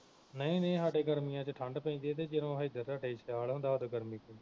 ਨਹੀਂ ਨਹੀਂ ਹਾਡੇ ਗਰਮੀਆਂ ਵਿਚ ਠੰਡ ਪੈਂਦੀ ਆ ਤੇ ਜਦੋ ਹਿਧਰ ਤੁਹਾਡੇ ਸਿਆਲ ਹੁੰਦਾ ਵਾ ਉਦੋ ਗਰਮੀ